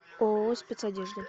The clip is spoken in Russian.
ооо спецодежда